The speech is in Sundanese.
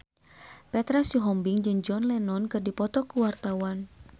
Petra Sihombing jeung John Lennon keur dipoto ku wartawan